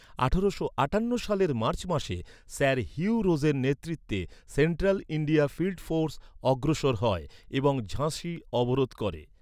আঠারোশো আটান্ন সালের মার্চ মাসে, স্যার হিউ রোজের নেতৃত্বে, সেন্ট্রাল ইন্ডিয়া ফিল্ড ফোর্স অগ্রসর হয় এবং ঝাঁসি অবরোধ করে।